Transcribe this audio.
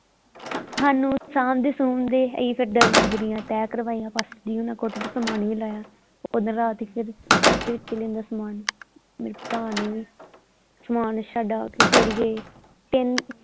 ਸਾਨੂੰ ਸਾਂਭਦੇ ਸੁਭਦੇ ਅਸੀਂ ਫਿਰ ਦਰੀਆਂ ਦੂਰੀਆਂ ਤਹਿ ਕਰਵਾਇਆਂ ਪਾਸਟਰ ਜੀ ਹੁਣਾ ਕੋਠੇ ਤੋਂ ਸਮਾਨ ਵੀ ਲਾਹਿਆ ਓਦਾਂ ਰਾਤ ਸੀ ਫਿਰ ਛੇਤੀ ਕਿੱਥੇ ਲਹਿੰਦਾ ਸਮਾਨ ਮੇਰੇ ਭਰਾ ਨੇ ਵੀ ਸਮਾਨ ਛਡਾ ਕੇ ਫੇਰ ਗਏ ਤਿੰਨ।